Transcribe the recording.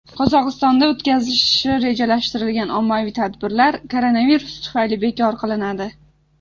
Qozog‘istonda o‘tkazilishi rejalashtirilgan ommaviy tadbirlar koronavirus tufayli bekor qilinadi .